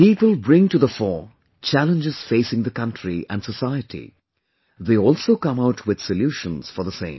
People bring to the fore challenges facing the country and society; they also come out with solutions for the same